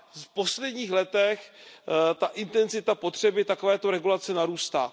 V posledních letech intenzita potřeby takovéto regulace narůstá.